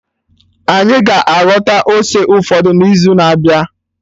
Anyị ga-aghọta ose ụfọdụ n'izu na-abịa